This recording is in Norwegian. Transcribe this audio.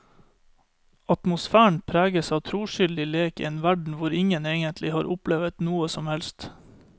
Atmosfæren preges av troskyldig lek i en verden hvor ingen egentlig har opplevet noe som helst.